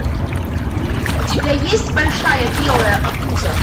у тебя есть большая белая обуза